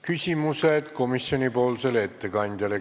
Küsimused komisjoni ettekandjale.